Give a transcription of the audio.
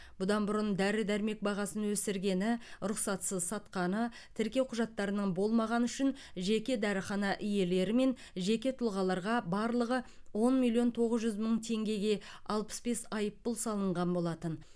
бұдан бұрын дәрі дәрмек бағасын өсіргені рұқсатсыз сатқаны тіркеу құжаттарының болмағаны үшін жеке дәріхана иелері мен жеке тұлғаларға барлығы он миллион тоғыз жүз мың теңгеге алпыс бес айыппұл салынған болатын